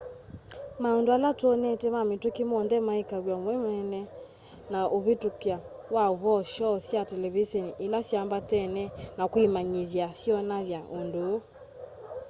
maũndũ ala twonete ma mĩtũkĩ monthe ma ĩka-we-mwene na ũvĩtũkya wa ũvoo shoo sya televiseni ila syambatene na kwĩmanyĩthya syonany'a ũndũ ũũ